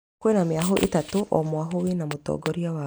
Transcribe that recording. Kwĩna mĩahu ĩtatũ o mwahũ wĩna mũtongoria wao